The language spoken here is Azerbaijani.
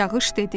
Yağış dedi: